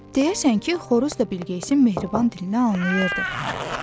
Deyəsən ki, xoruz da Bilqeyisin mehriban dilini anlayırdı.